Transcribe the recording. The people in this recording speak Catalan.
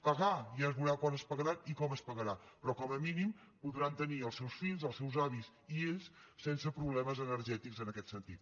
pagar ja es veurà quan es pagarà i com es pagarà però com a mínim podran tenir els seus fills els seus avis i ells sense problemes energètics en aquest sentit